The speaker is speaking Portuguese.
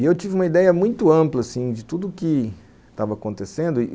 E eu tive uma ideia muito ampla, assim, de tudo o que estava acontecendo, e